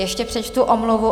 Ještě přečtu omluvu.